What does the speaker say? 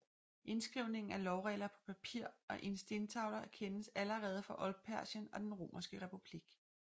Indskrivningen af lovregler på papir og stentavler kendes allerede fra Oldpersien og den Romerske republik